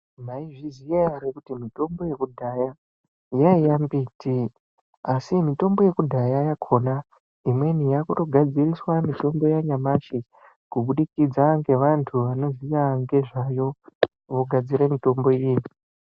Maizviziya ere kuti mitombo yekudhaya yaiya mbiti? Asi mitombo yekudhaya yakona imweni yakutogadziriswa mitombo yanyamashi kubudikidza ngevantu vanoziya ngezvayo, vogadzire mitombo iyi.